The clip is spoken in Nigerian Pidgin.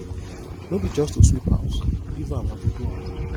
no be just to sweep house leave am i go do am